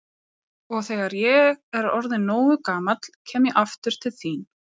Og þegar ég er orðinn nógu gamall kem ég aftur til þín.